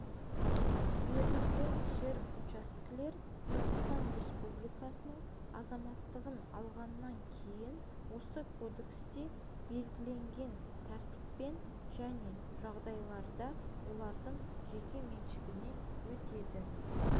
берілген жер учаскелер қазақстан республикасының азаматтығын алғаннан кейн осы кодексте белгіленген тәртіппен және жағдайларда олардың жеке меншігіне өтеді